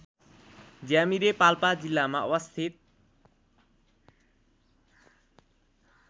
ज्यामिरे पाल्पा जिल्लामा अवस्थित